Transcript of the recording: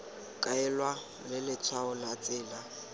kaelwa ke letshwao la tsela